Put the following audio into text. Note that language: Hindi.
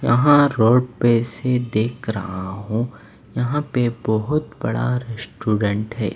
यहां रोड पे से देख रहा हूं यहां पे बहुत बड़ा रेस्टोरेंट है।